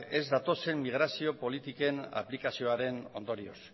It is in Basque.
ez datozen migrazio politiken aplikazioaren ondorioz